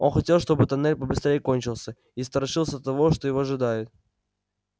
он хотел чтобы тоннель побыстрее кончился и страшился того что его ожидает